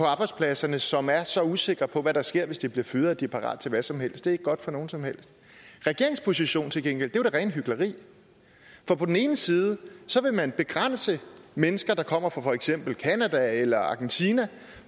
arbejdspladser som er så usikre på hvad der sker hvis de bliver fyret at de er parat til hvad som helst ikke godt for nogen som helst regeringens position er til gengæld det rene hykleri for på den ene side vil man begrænse at mennesker der kommer fra for eksempel canada eller argentina